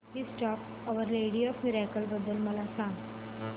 feast of our lady of miracles बद्दल मला सांगा